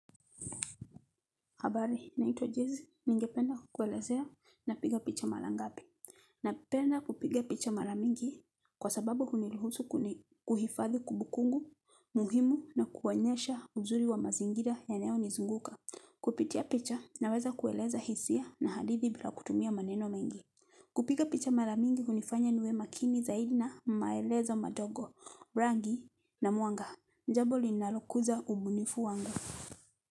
Habari, naitwa Jezi, ningependa kukuelezea napiga picha mara ngapi. Napenda kupiga picha mara mingi kwa sababu huniruhusu kuhifadhi kumbukumbu, muhimu na kuonyesha uzuri wa mazingira yanayonizunguka. Kupitia picha, naweza kueleza hisia na hadithi bila kutumia maneno mengi. Kupiga picha mara mingi, hunifanya niwe makini zaidi na maelezo madogo, rangi na mwanga. Ni jambo linalokuza ubunifu wangu.